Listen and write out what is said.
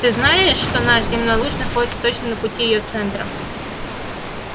ты знаешь что наш земной луч находится точно на пути её центра